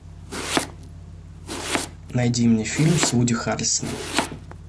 найди мне фильм с вуди харрельсоном